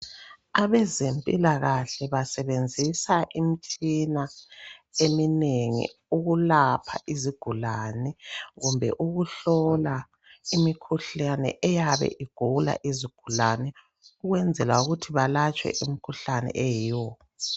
Abezempilakahle basebenzisa imitshina eminengi ukulapha izigulane kumbe ukuhlola imikhuhlane eyabe igula izigulane ukwenzela ukuthi balatshwe umkhuhlane oyiwo.